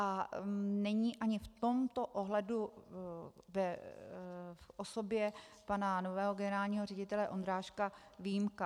A není ani v tomto ohledu v osobě pana nového generálního ředitele Ondráška výjimka.